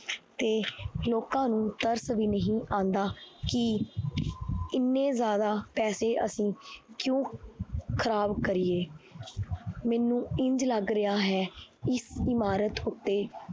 ਤੇ ਲੋਕਾਂ ਨੂੰ ਤਰਸ ਵੀ ਨਹੀਂ ਆਉਂਦਾ ਕਿ ਇੰਨੇ ਜ਼ਿਆਦਾ ਪੈਸੇ ਅਸੀਂ ਕਿਉਂ ਖ਼ਰਾਬ ਕਰੀਏ ਮੈਨੂੰ ਇੰਞ ਲੱਗ ਰਿਹਾ ਹੈ ਇਸ ਇਮਾਰਤ ਉੱਤੇ